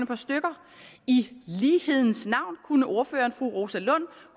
par stykker i lighedens navn kunne ordføreren fru rosa lund